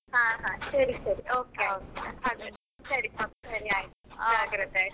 ಹಾ ಹಾ, ಸರಿ ಸರಿ okay ಆಯ್ತು ಜಾಗ್ರತೆ ಆಯ್ತಾ.